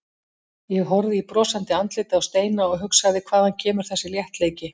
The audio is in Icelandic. Ég horfði í brosandi andlitið á Steina og hugsaði hvaðan kemur þessi léttleiki?